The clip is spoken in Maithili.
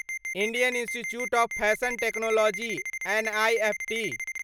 national institute of fashion technology NIFT